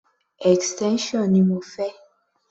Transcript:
Extension ni mo fẹ́.